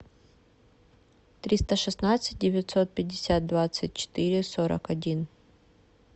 триста шестнадцать девятьсот пятьдесят двадцать четыре сорок один